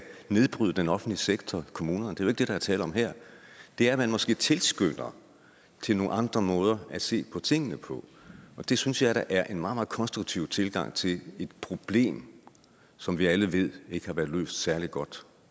nedbryde den offentlige sektor kommunerne det er ikke det der er tale om her det er at man måske tilskynder til nogle andre måder at se på tingene på det synes jeg er en meget meget konstruktiv tilgang til et problem som vi alle ved ikke har været løst særlig godt